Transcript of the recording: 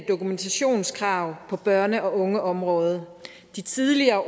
dokumentationskrav på børne og ungeområdet de tidligere